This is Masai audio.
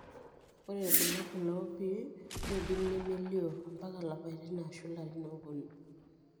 ore ilbulabul opii nidim nemelio ampaka ilapatin ashu ilarin oponu.